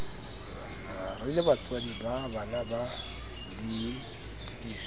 re lebatswadi ba banabana le